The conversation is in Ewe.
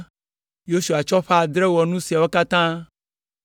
Yosua tsɔ ƒe adre wɔ nu siawo katã.